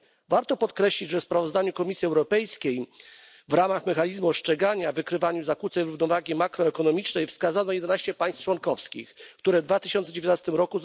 Warto podkreślić, że w sprawozdaniu Komisji Europejskiej, w ramach mechanizmu ostrzegania i wykrywania zakłóceń równowagi makroekonomicznej, wskazano 11 państw członkowskich, które w 2019 r.